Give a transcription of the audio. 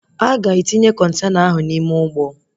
Aga etinye Kọntena ahụ n'ime ụgbọ